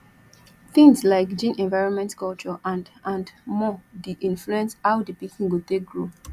things like gene environment culture and and more de influence how di pikin go take grow